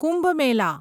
Kumbh Mela